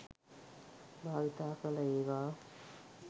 භාවිතා කළ ඒවා